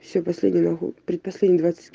все последний нухуй предпоследний двадцать иск